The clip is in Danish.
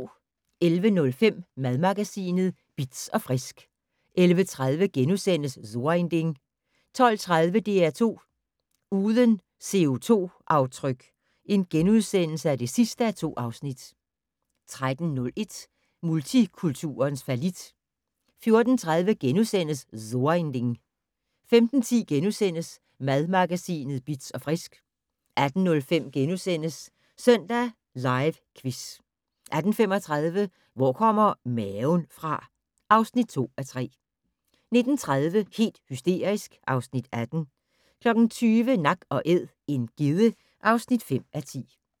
11:05: Madmagasinet Bitz & Frisk 11:30: So ein Ding * 12:30: DR2 Uden CO2-aftryk (2:2)* 13:01: Multikulturens fallit 14:30: So ein Ding * 15:10: Madmagasinet Bitz & Frisk * 18:05: Søndag Live Quiz * 18:35: Hvor kommer maven fra? (2:3) 19:30: Helt hysterisk (Afs. 18) 20:00: Nak & Æd - en gedde (5:10)